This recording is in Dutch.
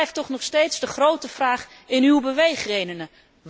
Dat blijft toch nog steeds de grote vraag in uw beweegredenen.